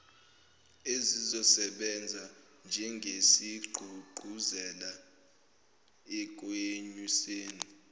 ezizosebenza njengesigqugquzelo ekwenyuseni